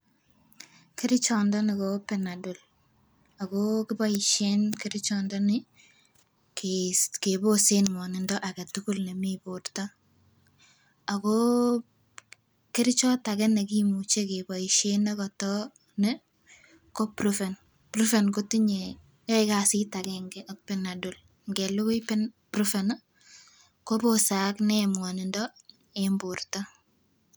Kerichot ndoni ko Panadol akoo kiboishen kerichot ndoni kei keboset ngwonindo aketukul nemii borto akoo kerichot age nekimuche keboishen nekoto nii ko prufen. Prufen kotinyee yoe kasit agenge ak Panadol ikelukui Panad ikelukui prufen nii kobose akinee ngwonindo en borto.